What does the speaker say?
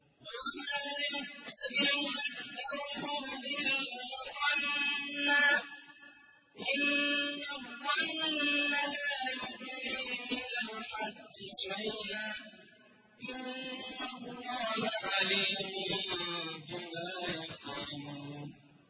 وَمَا يَتَّبِعُ أَكْثَرُهُمْ إِلَّا ظَنًّا ۚ إِنَّ الظَّنَّ لَا يُغْنِي مِنَ الْحَقِّ شَيْئًا ۚ إِنَّ اللَّهَ عَلِيمٌ بِمَا يَفْعَلُونَ